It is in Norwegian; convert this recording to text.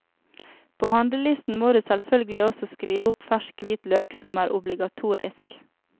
På handlelisten må du selvfølgelig også skrive opp fersk hvitløk, som er obligatorisk.